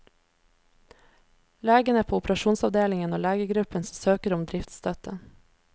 Legene på operasjonsavdelingen og legegruppen søker om driftsstøtte.